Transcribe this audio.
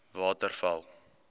waterval